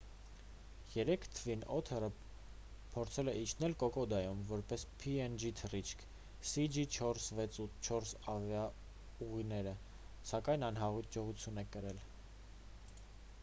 երեկ թվին օթերը փորձել է իջնել կոկոդայում որպես png թռիչք cg4684 ավիաուղիերը սակայն անհաջողություն է կրել